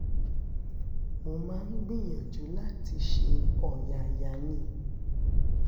mo máa ń gbìyànjú láti ṣe ọ̀yàyà ní